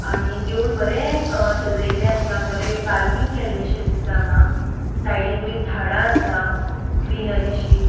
आणि देऊळ बरे सजेले असा बरे कारविंग केलेशे दिसता आंगा साइडिक बरी झाडा असा ग्रीनरीशी .